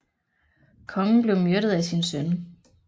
Kongen blev myrdet af sin søn